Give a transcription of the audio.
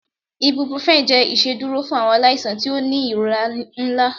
ibuprofen jẹ iṣeduro fun awọn alaisan ti o ni irora nla